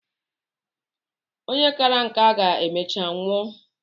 Onye kàrà nka ga-emecha nwụọ.